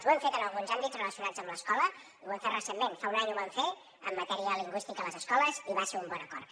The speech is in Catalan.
ho hem fet en alguns àmbits relacionats amb l’escola i ho hem fet recentment fa un any ho vam fer en matèria lingüística a les escoles i va ser un bon acord